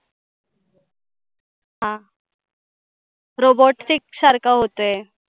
हा robotic सारख होतंय.